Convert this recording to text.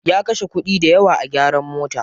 Ya kashe kuɗi dayawa a gyaran mota.